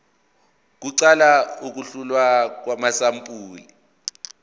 kuqala ukuhlolwa kwamasampuli